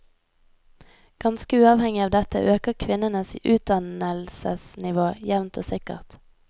Ganske uavhengig av dette øker kvinnenes utdannelsesnivå jevnt og sikkert.